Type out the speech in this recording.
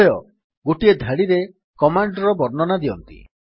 ଉଭୟ ଗୋଟିଏ ଧାଡିରେ କମାଣ୍ଡ୍ ର ବର୍ଣ୍ଣନା ଦିଅନ୍ତି